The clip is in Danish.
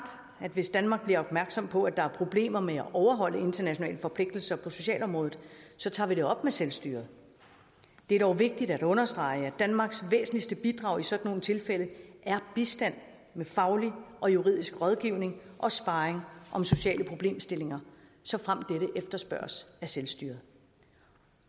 at hvis danmark bliver opmærksom på at der er problemer med at overholde internationale forpligtelser på socialområdet så tager vi det op med selvstyret det er dog vigtigt at understrege at danmarks væsentligste bidrag i sådan nogle tilfælde er bistand med faglig og juridisk rådgivning og sparring om sociale problemstillinger såfremt dette efterspørges af selvstyret